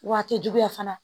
Waati juguya fana